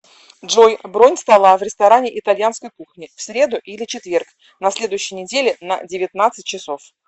джой бронь стола в ресторане итальянской кухни в среду или четверг на следующей неделе на девятнадцать часов